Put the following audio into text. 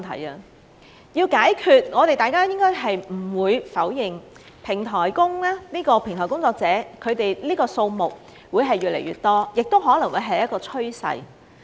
如要解決問題，我們不應否認平台工作者的數目會越來越多，這亦可能會是一個趨勢。